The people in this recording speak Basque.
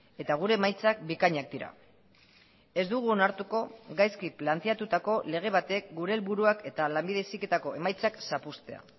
eta gure emaitzak bikainak dira ez dugu onartuko gaizki planteatutako lege batek gure helburuak eta lanbide heziketako emaitzak zapuztea